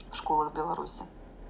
в школах беларуси